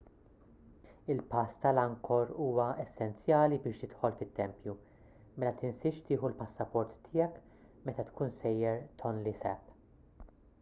il-pass tal-angkor huwa essenzjali biex tidħol fit-tempju mela tinsiex tieħu l-passaport tiegħek meta tkun sejjer tonle sap